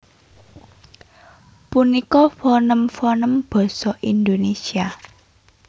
Punika fonèm fonèm basa Indonésia